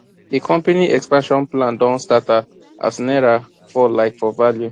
the company expansion plan don scatter as naira fall like for value